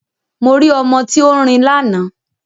Mo rí ọmọ tí ó ń rin lánàá